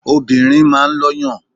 Obìnrin máa ń lọ́yàn.